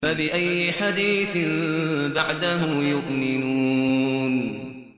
فَبِأَيِّ حَدِيثٍ بَعْدَهُ يُؤْمِنُونَ